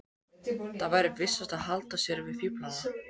Það væri vissast að halda sig við fíflana.